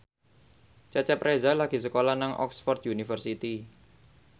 Cecep Reza lagi sekolah nang Oxford university